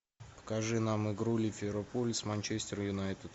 покажи нам игру ливерпуль с манчестер юнайтед